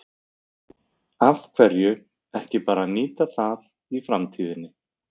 Af hverju ekki bara að nýta það í framtíðinni?